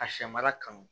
A sɛ mara kanu